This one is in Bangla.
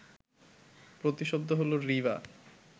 প্রতিশব্দ হলো রিবা